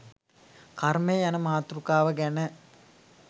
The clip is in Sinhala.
කර්මය යන මාතෘකාව ගැන